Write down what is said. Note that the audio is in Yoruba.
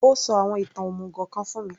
Ó sọ àwọn ìtàn òmùgò kan fún mi